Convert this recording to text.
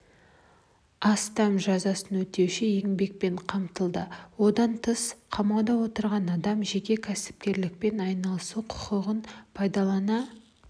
астам жазасын өтеуші еңбекпен қамтылды одан тыс қамауда отырған адам жеке кәсіпкерлікпен айналысу құқығын пайдалана